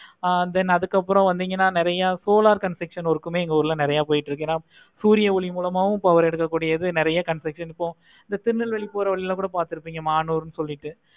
ஆஹ் then அதுக்கு அப்பறம் வந்திங்கனா நெறைய solar construciton எங்க உருளையுமே நெறைய போய்கிட்டு இருக்கு. சூரிய ஒளி மூலமாவும் power எடுக்க கூடியது நெறைய construction இந்த திருநெல்வேலி ல போறது கூட பார்த்து இருப்பிங்க மானூர் சொல்லிட்டு